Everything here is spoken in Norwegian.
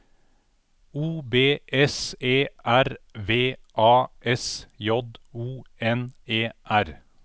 O B S E R V A S J O N E R